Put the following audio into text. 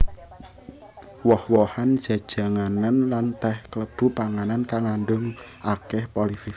Woh wohan jejanganan lan teh kalebu panganan kang ngandhut akèh polifenol